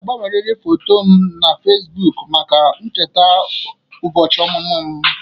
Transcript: Ị ga-agbanyeriri foto m na Fesibuuku maka ncheta ụbọchị ọmụmụ m.